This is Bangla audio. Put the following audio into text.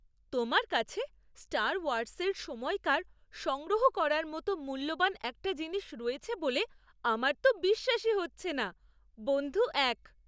তোমার কাছে স্টার ওয়ার্সের সময়কার সংগ্রহ করার মতো মূল্যবান একটা জিনিস রয়েছে বলে আমার তো বিশ্বাসই হচ্ছে না! বন্ধু এক